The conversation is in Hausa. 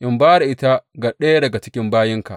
in ba da ita ga ɗaya daga cikin bayinka.